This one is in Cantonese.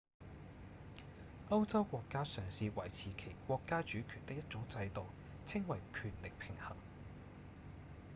歐洲國家嘗試維持其國家主權的一種制度稱為權力平衡